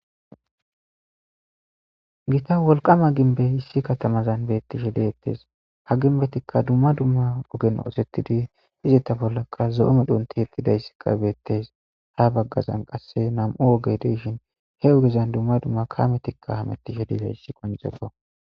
Gita wolqqama gimbbey issi katamazan beettishe de'ettes ha gimbezikka dumma dumma medhotan osettidi izeta bollakka zo'o medhon tiyettidayssi beettes ha baggazanqasikka nam'u oogey de'ishini he oogezan dumma dumma kaameti hametishe dizayssa qonccises